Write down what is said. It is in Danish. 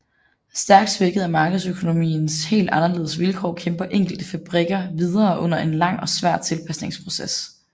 Stærkt svækket af markedsøkonomiens helt anderledes vilkår kæmper enkelte fabrikker videre under en lang og svær tilpasningsproces